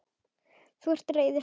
Þú ert reiður.